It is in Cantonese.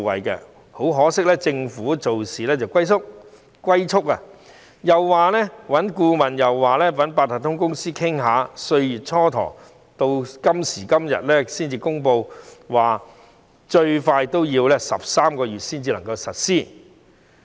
但很可惜，政府做事龜速，又要找顧問，又要與八達通卡有限公司商討，蹉跎歲月，到今時今日才公布最快要13個月後才能實施此項措施。